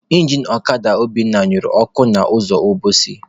Injin ọkada Obinna nyụrụ ọkụ n'ụzọ Obosi.